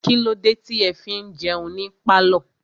Kílódé tí ẹ fi ń jẹun ní pálọ̀?